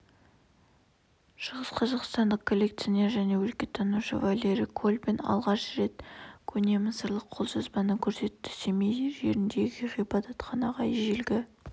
шығысқазақстандық коллекционер және өлкетанушы валерий колбин алғаш рет көне мысырлық қолжазбаны көрсетті семей жеріндегі ғибадатханаға ежелгі